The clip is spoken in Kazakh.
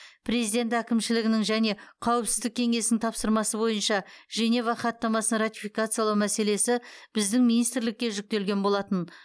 президент әкімшілігінің және қауіпсіздік кеңесінің тапсырмасы бойынша женева хаттамасын ратификациялау мәселесі біздің министрлікке жүктелген болатын